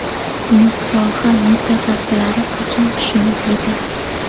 Buni soha mutasaddilari qachon tushunib yetadi?!